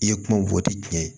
I ye kuma fɔ ti diɲɛ ye